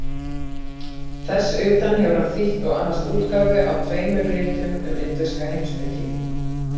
Þess utan hefur hann þýtt og annast útgáfu á tveimur ritum um indverska heimspeki.